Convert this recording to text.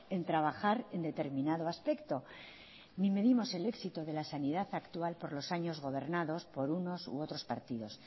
en trabajar en determinado aspecto ni medimos el éxito de la sanidad actual por los años gobernados por unos u otros partidos